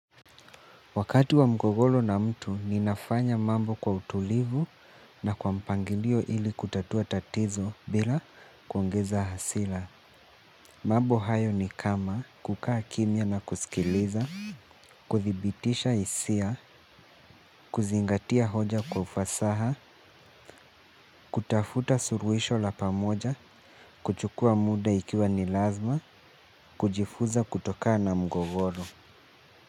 Wakati wa mgogoro na mtu ni nafanya mambo kwa utulivu na kwa mpangilio ili kutatua tatizo bila kuongeza hasila. Mambo hayo ni kama kukaa kimya na kusikiliza, kuthibitisha isia, kuzingatia hoja kwa ufasaha, kutafuta suruisho la pamoja, kuchukua muda ikiwa ni lazma, kujifuza kutokana na mgogoro.